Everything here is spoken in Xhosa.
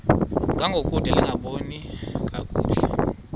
ngangokude lingaboni kakuhle